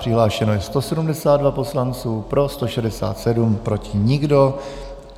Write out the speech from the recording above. Přihlášeno je 172 poslanců, pro 167, proti nikdo.